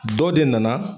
Dɔ de nana